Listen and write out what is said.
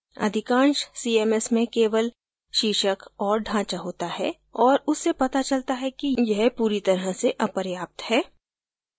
अधिकांश cms में केवल शीर्षक और ढाँचा होता है और उससे पता चलता है कि यह पूरी तरह से अपर्याप्त है